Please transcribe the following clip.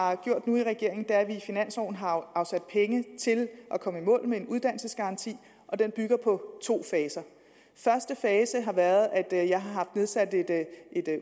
har gjort nu i regeringen er at vi i finansloven har afsat penge til at komme i mål med en uddannelsesgaranti og den bygger på to faser første fase har været at jeg har haft nedsat et